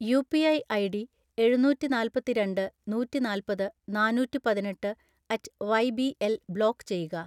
UPI ID എഴുനൂറ്റിനാല്പത്തിരണ്ട്‍ നൂറ്റിനാല്പത് നാനൂറ്റിപതിനെട്ട് at Y B L block ചെയ്യുക